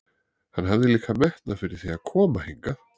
Hann hafði líka metnað fyrir því að koma hingað.